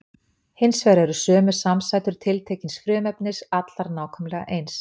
Hins vegar eru sömu samsætur tiltekins frumefnis allar nákvæmlega eins.